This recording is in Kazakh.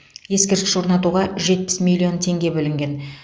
ескерткіш орнатуға жетпіс миллион теңге бөлінген